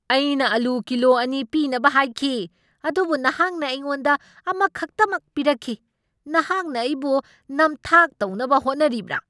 ꯑꯩꯅ ꯑꯂꯨ ꯀꯤꯂꯣ ꯑꯅꯤ ꯄꯤꯅꯕ ꯍꯥꯏꯈꯤ ꯑꯗꯨꯕꯨ ꯅꯍꯥꯛꯅ ꯑꯩꯉꯣꯟꯗ ꯑꯃꯈꯛꯇꯃꯛ ꯄꯤꯔꯛꯈꯤ꯫ ꯅꯍꯥꯛꯅ ꯑꯩꯕꯨ ꯅꯝꯊꯥꯛ ꯇꯧꯅꯕ ꯍꯣꯠꯅꯔꯤꯕ꯭ꯔꯥ?